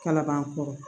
Kana ban kɔrɔ